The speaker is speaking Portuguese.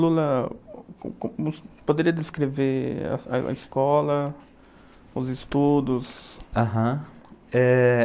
Lula, poderia descrever a escola, os estudos? Haram. É...